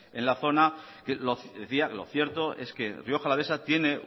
en la zona decía lo cierto es que rioja alavesa tiene